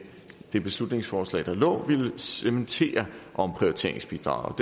det beslutningsforslag der lå ville cementere omprioriteringsbidraget